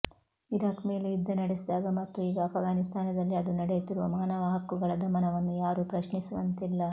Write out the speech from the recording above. Iraq ಮೇಲೆ ಯುದ್ಧ ನಡೆಸಿದಾಗ ಮತ್ತು ಈಗ ಆಫ್ಘಾನಿಸ್ತಾನದಲ್ಲಿ ಅದು ನಡೆಸುತ್ತಿರುವ ಮಾನವ ಹಕ್ಕುಗಳ ದಮನವನ್ನು ಯಾರೂ ಪ್ರಶ್ನಿಸುವಂತಿಲ್ಲ